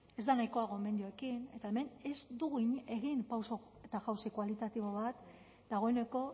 ez da nahikoa gomendioekin eta hemen ez dugu egin pauso eta jauzi kualitatibo bat dagoeneko